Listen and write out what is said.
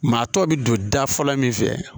Maa tɔ bɛ don da fɔlɔ min fɛ